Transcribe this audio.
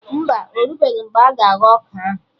Mba, orubeghi mgbe a ga-aghọ ọka ahụ